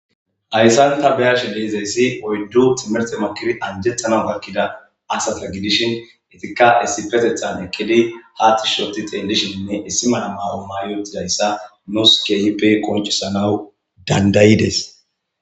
Hayissan taa be'ashshe dizayissi oyiddu timirtte makidi anjetana gakida asata gidishshin etikka issippeteththan eqqidi paxishshe utti xellishshe issi mala mayo mayi uttidayissa nusi kehippe qoniccisanawu danida'idess.